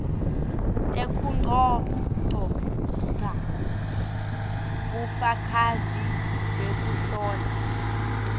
tekugcogca bufakazi bekuhlola